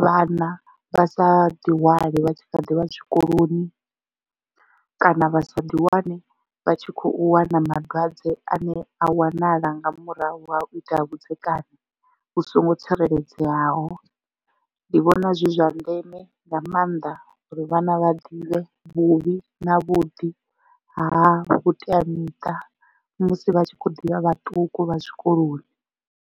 vhana vha sa ḓihwale vha tshi kha ḓivha zwikoloni kana vha sa ḓi wane vha tshi kho wana malwadze ane a wanala nga murahu ha u ita vhudzekani vhu songo tsireledzeaho ndi vhona zwi zwa ndeme nga maanḓa uri vhana vha ḓivhe vhuvhi na vhuḓi ha vhuteamiṱa musi vha tshi kho ḓivha vhaṱuku vha zwikoloni.